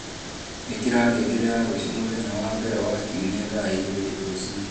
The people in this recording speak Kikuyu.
ikira ngengere ya ruciu mũthenya wa mbere wa kiumia thaa igiri rucini